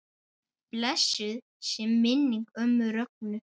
Blessuð sé minning ömmu Rögnu.